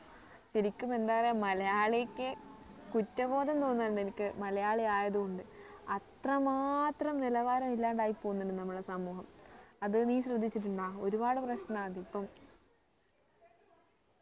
ശരിക്കും എന്താ പറയാ മലയാളിക്ക് കുറ്റബോധം തോന്നുന്നു ഉണ്ട് എനിക്ക് മലയാളി ആയത് കൊണ്ട് അത്ര മാത്രം നിലവാരമില്ലാണ്ട് ആയി പോവുന്നുണ്ട് നമ്മുടെ സമൂഹം അത് നീ ശ്രദ്ധിച്ചിട്ടുണ്ടോ ഒരുപാട് പ്രശ്നാ അതിപ്പം